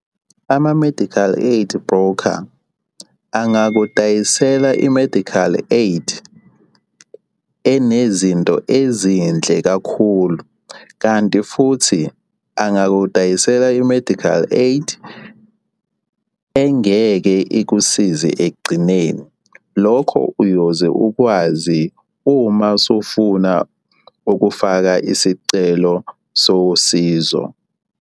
Ama-medical aid broker angakudayisele i-medical aid enezinto ezinhle kakhulu, kanti futhi angakudayisela i-medical aid engeke ikusize ekugcineni. Lokho uyoze ukwazi uma usufuna ukufaka isicelo sosizo.